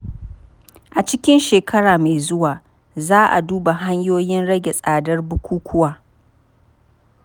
A cikin shekara mai zuwa, za a duba hanyoyin rage tsadar bukukkuwa.